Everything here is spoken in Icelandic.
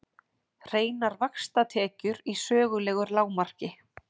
Hreinar vaxtatekjur í sögulegu lágmarki